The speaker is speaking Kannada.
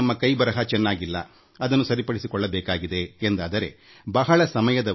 ನಮ್ಮ ಕೈ ಬರಹ ಚೆನ್ನಾಗಿಲ್ಲದಿದ್ದರೆ ನಾವು ಅದನ್ನು ಉತ್ತಮಪಡಿಸಿಕೊಳ್ಳಬೇಕು